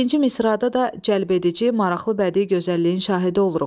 İkinci misrada da cəlbedici, maraqlı bədii gözəlliyin şahidi oluruq.